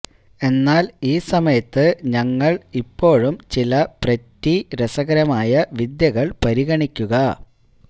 എന്നാൽ ഈ സമയത്ത് ഞങ്ങൾ ഇപ്പോഴും ചില പ്രെറ്റി രസകരമായ വിദ്യകൾ പരിഗണിക്കുക